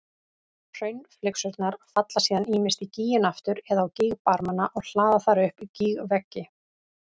Hraunflygsurnar falla síðan ýmist í gíginn aftur eða á gígbarmana og hlaða þar upp gígveggi.